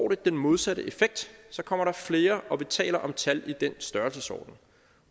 den modsatte effekt så kommer der flere og vi taler om tal i den størrelsesorden